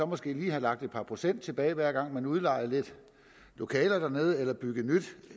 måske lige have lagt et par procent tilbage hver gang man udlejede lidt lokaler dernede eller byggede nyt